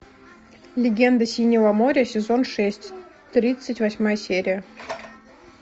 легенда синего моря сезон шесть тридцать восьмая серия